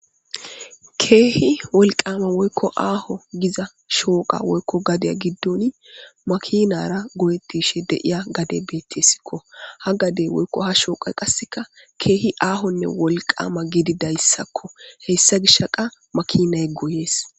Keehi wolqama aho giza shore woga woyko gada gidoni makinara goyetishe de'es betesko ha gade woyko ha shoqa qaseka kehi aho wollqama gidida sako makinay goyes